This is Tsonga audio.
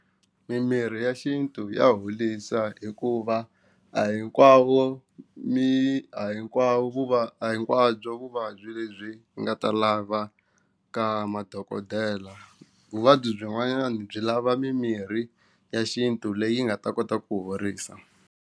Mimirhi ya xintu ya holisa hikuva a hinkwavo mi a hinkwavo hinkwabyo vuvabyi lebyi nga ta lavaka madokodela vuvabyi byin'wana byi lava mimirhi ya xintu leyi nga ta kota ku horisa.